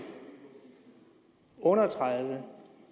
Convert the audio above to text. under tredive